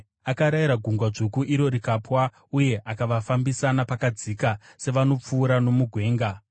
Akarayira Gungwa Dzvuku iro rikapwa; uye akavafambisa napakadzika sevanopfuura nomugwenga.